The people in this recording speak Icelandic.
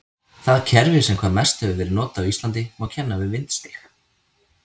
Það kerfi sem hvað mest hefur verið notað á Íslandi má kenna við vindstig.